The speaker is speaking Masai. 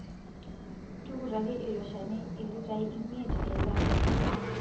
Tukutaki ilo Shani ilitai imiet eika nabo.